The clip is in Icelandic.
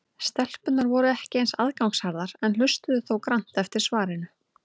Stelpurnar voru ekki eins aðgangsharðar en hlustuðu þó grannt eftir svarinu.